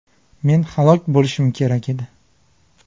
Men halok bo‘lishim kerak edi.